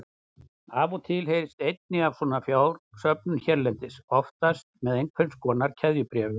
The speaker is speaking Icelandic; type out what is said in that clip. Af og til heyrist einnig af svona fjársöfnun hérlendis, oftast með einhvers konar keðjubréfum.